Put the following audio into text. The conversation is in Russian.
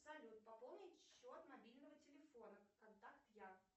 салют пополнить счет мобильного телефона контакт я